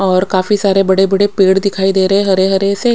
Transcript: और काफी सारे बड़े बड़े पेड़ दिखाई दे रहे है हरे हरे से।